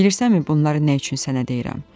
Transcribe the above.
Bilirsənmi bunları nə üçün sənə deyirəm?